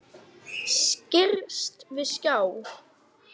Skirrst við að sjá.